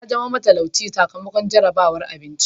Ya zama matalauci sakamakon jarabar abinci.